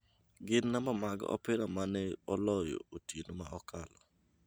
gin namba mag opira ma ne oloyo otieno mokalo